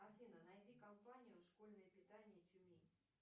афина найди компанию школьное питание тюмень